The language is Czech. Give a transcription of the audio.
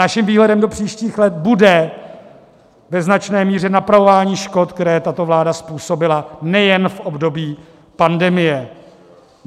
Naším vhledem do příštích let bude ve značné míře napravování škod, které tato vláda způsobila nejen v období pandemie.